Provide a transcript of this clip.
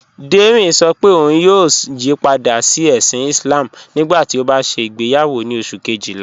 Dẹrín ṣọ́ pé ọ̀un yóò yípadà sí èṣìn Islám nígbàtí ó bá ṣẹ igbeyàwọ ni oṣù̀ kẹ́jìlá